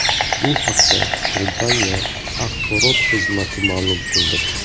Bu haqda kompaniya axborot xizmati ma’lum qildi .